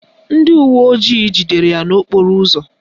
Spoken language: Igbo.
Ndị uwe ojii jidere ya n'okporo ụzọ